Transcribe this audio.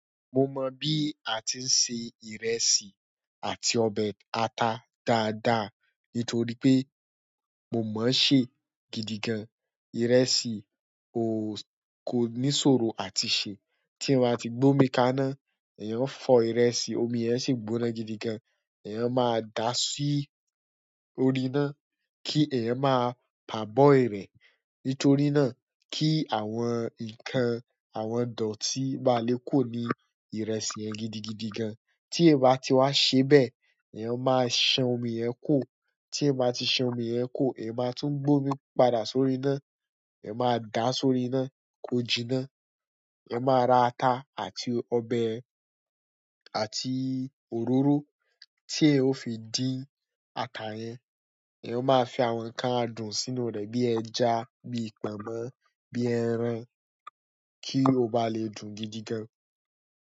Mo mọ bí a ti ń se ìrẹsì àti ọbẹ̀ ata dáadáa nítorí pé mo mọ̀ ṣé gidigan ìrẹsì ó kó ní ìṣòro àti ṣe tí n bá ti gbómi ka náà, ẹ̀yàn fọ ìrẹsì, omi yẹn sì gbóná gidigan. Ẹ̀yàn máa dà á si órí iná kí ẹ̀yàn máa pà bọ́ ìrẹ̀ nítorí náà kí àwọn nǹkan, àwọn dọ̀tí má lé kuró ní ìrẹsì yẹn gidigidigangan. Tí ẹ bá ti wà ṣe bẹ́ẹ̀, ẹ̀yàn máa ṣan omi yẹn kù o. Ti eyan bá ti san omi yen ku o iyán má tún gbé omí padà si orí iná ẹ̀yàn máa dà á sórí iná, kó jiná. Ẹ̀yàn máa ra ata àti ọbẹ̀ àti òróró tí ẹ ó fi dín ata yẹn. Ẹ̀yàn máa fi àwọn nǹkan adùn sínú rẹ̀ bí ẹja, bí pọnmọ, bí ẹran kí ó bá lè dùn gidigan.